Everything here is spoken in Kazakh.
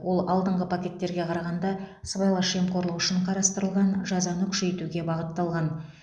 ол алдыңғы пакеттерге қарағанда сыбайлас жемқорлық үшін қарастырылған жазаны күшейтуге бағытталған